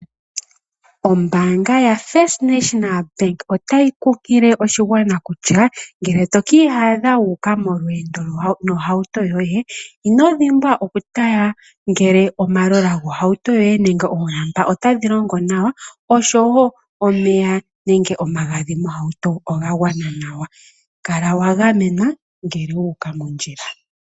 Ombaanga yotango yopashigwana otayi kunkile oshigwana kutya ngele tokiiyadha wuuka molweendo nohauto yoye, inodhimbwa oku tala ngele omatayiyela gohauto yoye nenge omalamba otaga longo nawa oshowo omeya nenge omagadhi mohauto oga gwana nawa . Kala wa gamenwa ngele wuuka mondjila.